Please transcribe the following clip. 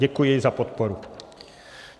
Děkuji za podporu.